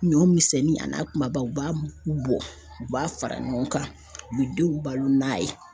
Ɲɔ misɛnnin ani kumaba u b'a mugu bɔ u b'a fara ɲɔgɔn kan u be denw balo n'a ye